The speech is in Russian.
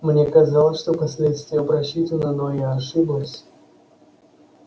мне казалось что последствия просчитаны но я ошиблась